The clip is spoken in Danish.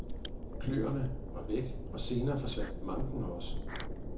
Kløerne var væk, og senere forsvandt manken også.